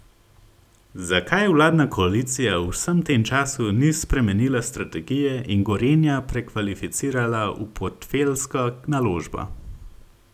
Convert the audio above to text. Zakaj vladna koalicija v vsem tem času ni spremenila strategije in Gorenja prekvalificirala v portfeljsko naložbo?